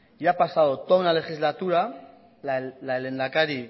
y ha pasado toda una legislatura la del lehendakari